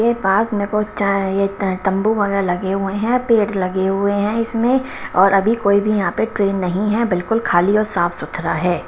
के पास मेरे को चाय ततंबू वगैरह लगे हुए हैं पेट लगे हुए हैं इसमें और अभी कोई भी यहां पे ट्रेन नहीं है बिल्कुल खाली और साफ सुथरा है।